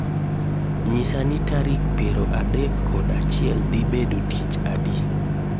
Nyisa ni tarik piero adek kod achiel dhi bedo tich adi